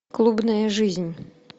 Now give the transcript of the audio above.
клубная жизнь